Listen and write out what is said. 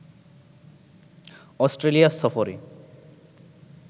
Australia সফরে